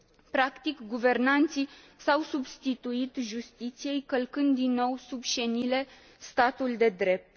Practic, guvernanții s au substituit justiției, călcând, din nou, sub șenile statul de drept.